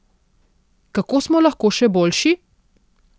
Kako smo lahko še boljši?